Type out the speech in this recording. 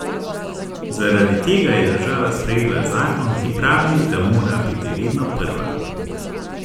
Zaradi tega je država sprejela zakon, ki pravi, da mora biti vedno prva.